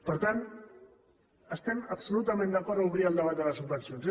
per tant estem absolutament d’acord a obrir el debat de les subvencions